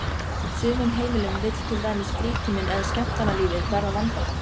sumum heimilum vill til dæmis frítíminn eða skemmtanalífið verða vandamál.